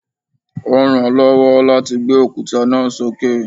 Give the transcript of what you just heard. Ó ń ràn án lọ́wọ́ láti gbé òkúta náà sókè